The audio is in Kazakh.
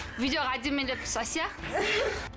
видеоға әдемілеп түс әсия